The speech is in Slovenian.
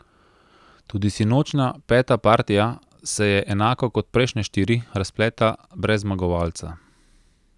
Tudi sinočnja peta partija se je, enako kot prejšnje štiri, razpletla brez zmagovalca.